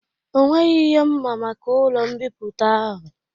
Ọ nweghị ihe mma maka ụlọ mbipụta ahụ